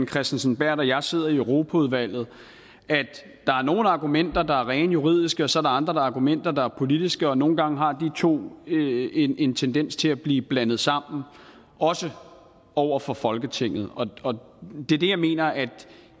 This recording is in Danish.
kristensen berth og jeg sidder i europaudvalget at der er nogle argumenter der er rene juridiske og så andre argumenter der er politiske og nogle gange har de to en en tendens til at blive blandet sammen også over for folketinget det er det jeg mener at